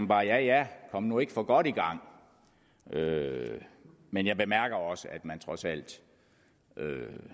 bare ja ja kom nu ikke for godt i gang men jeg bemærker også at man trods alt